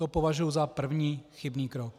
To považuji za první chybný krok.